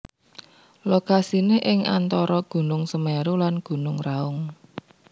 Lokasiné ing antara Gunung Semeru lan Gunung Raung